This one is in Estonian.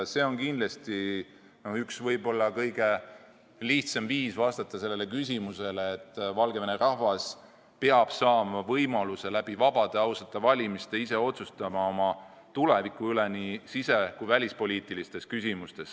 See on kindlasti kõige lihtsam viis vastata sellele küsimusele: Valgevene rahvas peab saama vabade, ausate valimiste teel õiguse ise otsustada oma tuleviku üle nii sise- kui välispoliitilistes küsimustes.